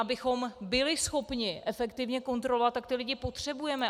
Abychom byli schopni efektivně kontrolovat, tak ty lidi potřebujeme.